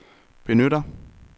benytter